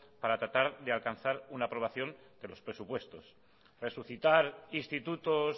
para tratar de alcanzar una aprobación de los presupuestos resucitar institutos